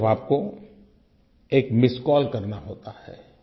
बस सिर्फ आपको एक मिस्ड कॉल करना होता है